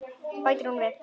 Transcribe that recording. Bætir hún við.